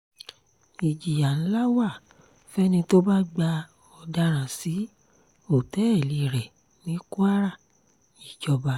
ìjìyà ńlá wa fẹ́ni tó bá gba ọ̀daràn sí òtẹ́ẹ̀lì rẹ̀ ní kwara-ìjọba